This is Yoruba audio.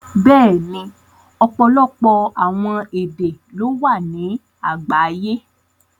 Bẹ́ẹ̀ni, ọpọlọpọ awọn èdè ló wà ni àgbàyé.